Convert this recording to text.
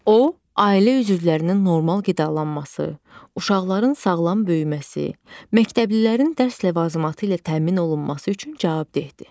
O, ailə üzvlərinin normal qidalanması, uşaqların sağlam böyüməsi, məktəblilərin dərs ləvazimatı ilə təmin olunması üçün cavabdehdir.